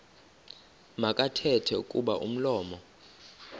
makathethe kuba umlomo